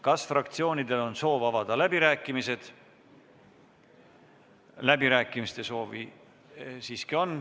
Kas fraktsioonidel on soov avada läbirääkimised?